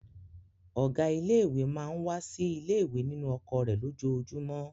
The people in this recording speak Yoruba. Ọ̀gá ilé-ìwé máa ń wá sí ilé-ìwé nínú ọkọ̀ rẹ̀ lójoojúmọ́.